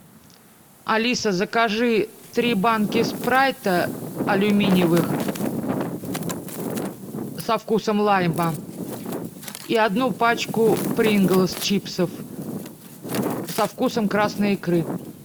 алиса закажи три банки спрайта алюминевый со вкусом лайма и одну пачку прингл чипсов со вкусом красной икры